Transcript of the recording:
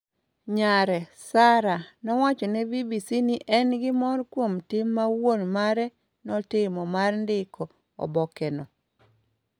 Nyare, Sarah, nowacho ne BBC ni ne en gi mor kuom tim ma wuon mare notimo mar ndiko obokeno.